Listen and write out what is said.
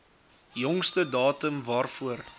jongste datum waarvoor